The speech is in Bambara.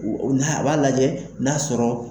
A b'a lajɛ n'a sɔrɔ.